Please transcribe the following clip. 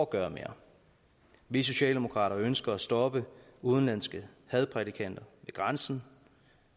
gøre mere vi socialdemokrater ønsker at stoppe udenlandske hadprædikanter ved grænsen